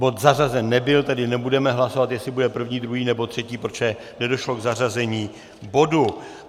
Bod zařazen nebyl, tedy nebudeme hlasovat, jestli bude první, druhý nebo třetí, protože nedošlo k zařazení bodu.